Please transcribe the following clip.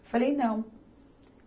Eu falei, não.